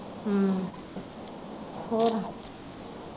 ਹੋਰ।